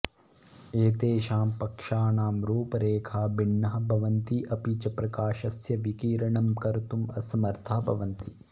एतेषां पक्षानां रूपरेखाः भिन्नाः भवन्ति अपि च प्रकाशस्य विकिरणं कर्तुम् असमर्थाः भवन्ति